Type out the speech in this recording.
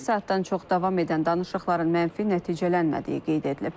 Bir saatdan çox davam edən danışıqların mənfi nəticələnmədiyi qeyd edilib.